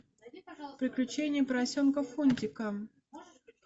приключения поросенка фунтика